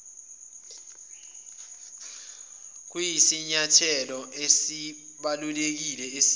kuyisinyathelo esibalulekile esiya